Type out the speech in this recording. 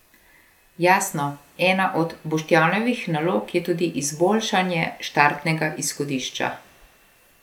Jasno, ena od Boštjanovih nalog je tudi izboljšanje štartnega izhodišča.